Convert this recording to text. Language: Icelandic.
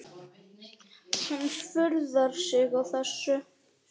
Hún furðar sig á þessu.